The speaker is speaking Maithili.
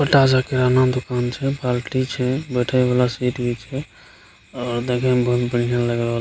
ओता जाय के एना दुकान छै बाल्टी छै बैठे वाला सीढ़ी छै और देखे में बहुत लग रहल --